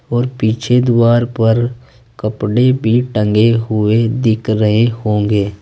और पीछे दुआर पर कपड़े भी टंगे हुए दिख रहे होंगे।